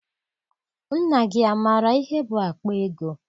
Nna gị amaara ihe bụ akpa ego?